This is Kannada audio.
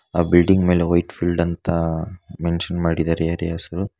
ಆ ಬಿಲ್ಡಿಂಗ್ ಮೇಲೆ ವೈಟ್ ಫೀಲ್ಡ್ ಅಂತ ಮೆನಷನ್ ಮಾಡಿದ್ದಾರೆ ಏರಿಯಾಸ್ --